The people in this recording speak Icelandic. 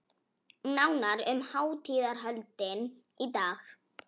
Nánar um hátíðarhöldin í dag